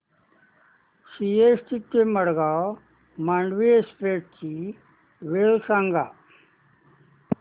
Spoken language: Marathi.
सीएसटी ते मडगाव मांडवी एक्सप्रेस ची वेळ सांगा